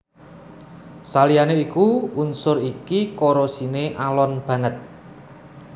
Saliyané iku unsur iki korosiné alon banget